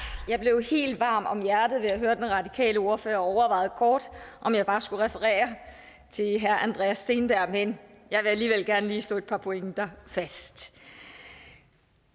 jeg blev helt varm om hjertet ved at høre den radikale ordfører og overvejede kort om jeg bare skulle referere til herre andreas steenberg men jeg vil alligevel gerne lige slå et par pointer fast